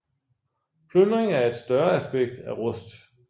Plyndring er et større aspekt af Rust